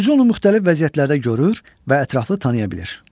Oxucu onu müxtəlif vəziyyətlərdə görür və ətraflı tanıya bilir.